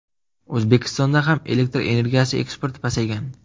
O‘zbekistonga ham elektr energiyasi eksporti pasaygan.